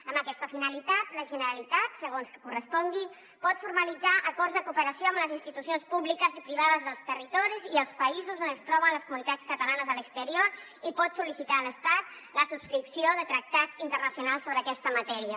amb aquesta finalitat la generalitat segons que correspongui pot formalitzar acords de cooperació amb les institucions públiques i privades dels territoris i els països on es troben les comunitats catalanes a l’exterior i pot sol·licitar a l’estat la subscripció de tractats internacionals sobre aquesta matèria